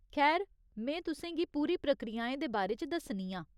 खैर, में तुसें गी पूरी प्रक्रियाएं दे बारे च दस्सनी आं।